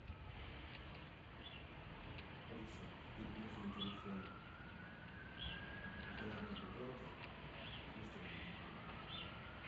алиса переведи на телефон главный бухгалтер двести рублей